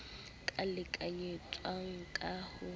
k a lekanyetsang ka ho